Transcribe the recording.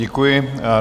Děkuji.